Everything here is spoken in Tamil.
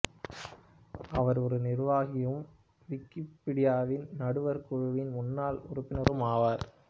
அவர் ஒரு நிர்வாகியும் விக்கிபீடியாவின் நடுவர் குழுவின் முன்னாள் உறுப்பினரும் ஆவார்